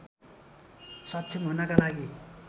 सक्षम हुनका लागि